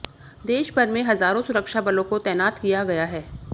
देशभर में हजारों सुरक्षाबलों को तैनात किया गया है